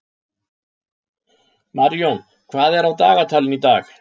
Marjón, hvað er á dagatalinu í dag?